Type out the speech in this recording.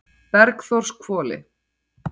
Bergþórshvoli